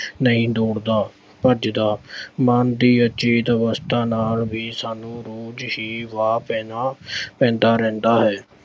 ਨਹੀਂ ਦੌੜਦਾ, ਭੱਜਦਾ ਮਨ ਦੀ ਅਚੇਤ ਅਵਸਥਾ ਨਾਲ ਵੀ ਸਾਨੂੰ ਰੋਜ਼ ਹੀ ਵਾਹ ਪੈਣਾ ਪੈਂਦਾ ਰਹਿੰਦਾ ਹੈ।